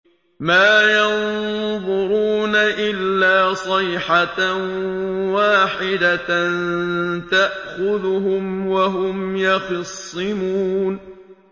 مَا يَنظُرُونَ إِلَّا صَيْحَةً وَاحِدَةً تَأْخُذُهُمْ وَهُمْ يَخِصِّمُونَ